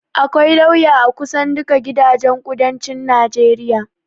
akwai lauya a kusan duka gidajen kudancin najeriya